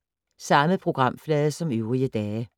Samme programflade som øvrige dage